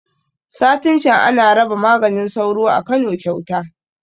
Satin can ana raba maganin sauro a Kano kyauta